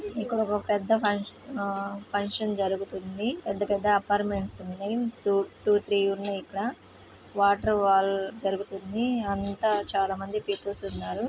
ఇక్కడ ఒక పెద్ద ఫంక్షన్ -ఫంక్షన్ జరుగుతుంది పెద్ద పెద్ద అపార్ట్మెంట్స్ ఉన్నాయి టూ త్రీ ఉన్నాయి ఇక్కడ వాటర్ వాల్ జరుగుతుంది అంతా చాలామంది పీపుల్ స్ ఉన్నారు.